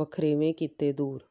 ਵਖਰੇਵੇਂ ਕੀਤੇ ਦੂਰ